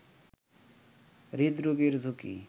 হৃদরোগের ঝুঁকি